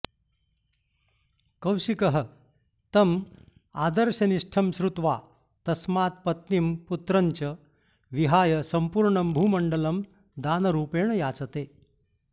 कौशिकः तम् आदर्शनिष्ठं श्रुत्वा तस्मात् पत्नीं पुत्रं च विहाय सम्पूर्णं भूमण्डलं दानरूपेण याचते